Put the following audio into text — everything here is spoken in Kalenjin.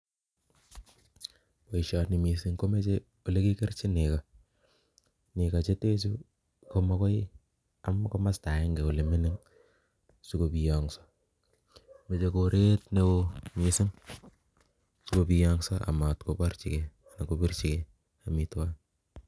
Boisioni missing komoche olekikerchin nego, nego chetechu komagoi am komosto agenge ole mining si kobiyong'so, moche koret neo missing sikobiyong'so amatkoborchigei amitwogik